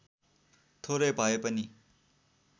थोरै भए पनि